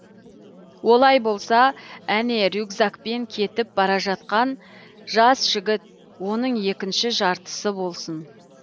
олай болса әне рюкзакпен кетіп бара жатқан жас жігіт оның екініші жартысы болсын